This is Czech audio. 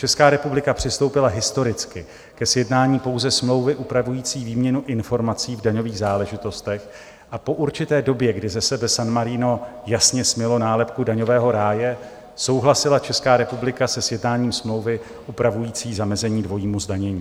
Česká republika přistoupila historicky ke sjednání pouze smlouvy upravující výměnu informací v daňových záležitostech a po určité době, kdy ze sebe San Marino jasně smylo nálepku daňového ráje, souhlasila Česká republika se sjednáním smlouvy upravující zamezení dvojímu zdanění.